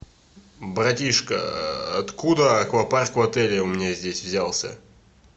братишка откуда аквапарк в отеле у меня здесь взялся